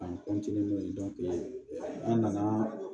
An n'o ye an nana